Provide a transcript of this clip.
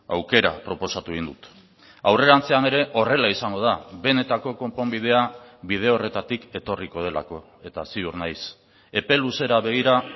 aukera proposatu egin dut aurrerantzean ere horrela izango da benetako konponbidea bide horretatik etorriko delako eta ziur naiz epe luzera begira